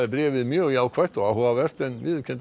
bréfið mjög jákvætt og áhugavert en viðurkenndi